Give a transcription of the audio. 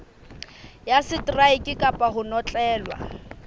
ya seteraeke kapa ho notlellwa